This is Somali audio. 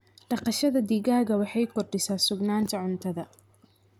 Dhaqashada digaaga waxay kordhisaa sugnaanta cuntada.